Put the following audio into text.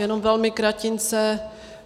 Jenom velmi kratince.